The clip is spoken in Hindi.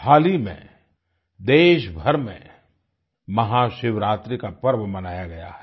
हाल ही में देशभर में महाशिवरात्रि का पर्व मनाया गया है